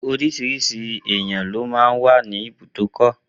Oríṣiríṣi àwọn èèyàn ló máa n wà ní ibùdókọ̀